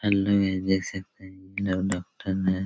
hello ये देख सकते हैं ये लोग डॉक्टर नए--